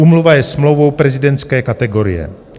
Úmluva je smlouvou prezidentské kategorie.